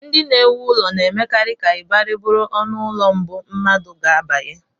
Ndị na-ewu ụlọ na-emekarị ka ịbarị bụrụ ọnụụlọ mbụ mmadụ ga-abanye